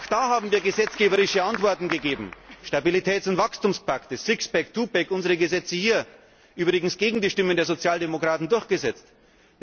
Auch da haben wir gesetzgeberische Antworten gegeben Stabilitäts und Wachstumspakt, Sixpack, Twopack, unsere Gesetze hier die übrigens gegen die Stimmen der Sozialdemokraten durchgesetzt wurden.